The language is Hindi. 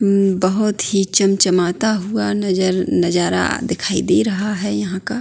बहौत ही चम-चमाता हुआ नजर नजारा दिखाई दे रहा है यहाँ का।